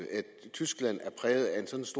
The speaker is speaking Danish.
tyskland